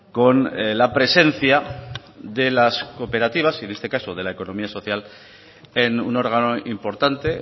con la presencia de las cooperativas y en este caso de la economía social en un órgano importante